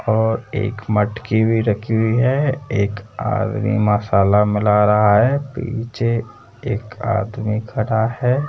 और एक मटकी भी रखी हुई है एक आदमी मसाला मिल रहा है पीछे एक आदमी खड़ा है।